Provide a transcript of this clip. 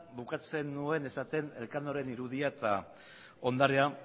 bukatzen nuen esaten elkanoren irudia eta ondarea